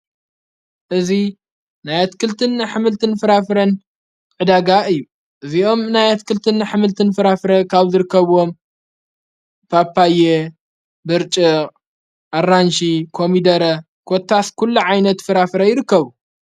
እዙ ናይ ኣትክልትን ኅምልትን ፍራፍረን ዕዳጋ እዩ እዚኦም ናይ ኣትክልትን ሕምልትን ፍራፍረ ካብ ዘርከብዎም ጳጳየ ብርጭቕ ኣራንሽ ኮሚደረ ኰታስ ኲሉ ዓይነት ፍራፍረ ይርከቡ።